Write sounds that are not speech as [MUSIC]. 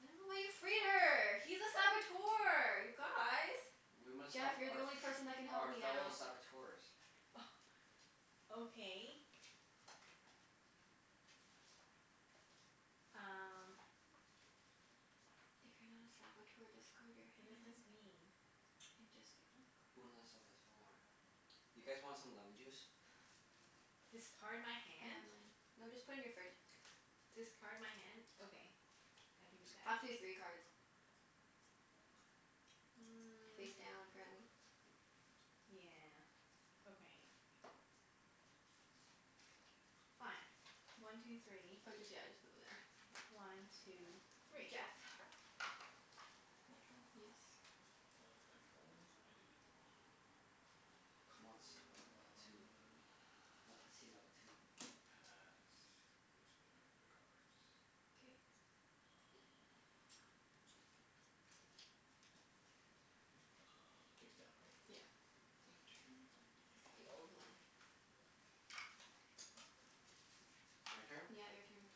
I don't know why you free her. He's a Saboteur, you guys! We must help Jeff, you're the our only person that can f- help our me fellow now. [LAUGHS] Saboteurs. Oh, okay. Um If you're not a Saboteur, discard your What does this hand. mean? And just get more [NOISE] Une a cards. Saboteur. You guys want some lemon juice? [NOISE] K. Discard my I have hand? mine. No, just put in your fridge. Discard my hand? Okay. I can do that. Up to three cards. Mm. Face down, apparently. Yeah, okay. Fine. One two three. Oh just, yeah, just put them there. One two three. Jeff. [NOISE] My turn? Yes. Uh, did I draw one? I did. On. [NOISE] Comment ça va la patou. Uh La patit la patou. I'm gonna pass. Just getting rid of cards. K. Um, hmm. Uh, face down, right? Yeah. One two It's the three. old one. This one? [NOISE] My turn? Yeah, your turn.